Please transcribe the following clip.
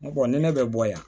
N ko ni ne bɛ bɔ yan